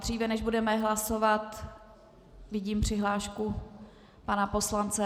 Dříve než budeme hlasovat, vidím přihlášku pana poslance.